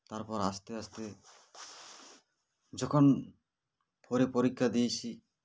তারপর আস্তে আস্তে যখন four -এ পরীক্ষা দিয়েছি